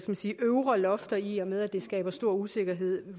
man sige øvre lofter i og med at det skaber stor usikkerhed